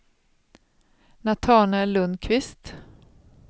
Natanael Lundkvist